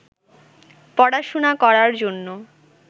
পড়াশুনা করার জন্য